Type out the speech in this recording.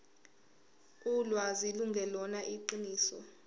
ulwazi lungelona iqiniso